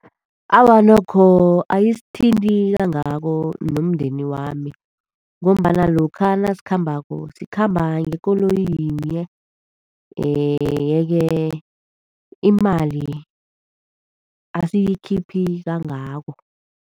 Awa, nokho, ayisithinti kangako nomndeni wami. Ngombana lokha nasikhambako sikhamba ngekoloyi yinye, yeke imali asiyikhiphi kangako.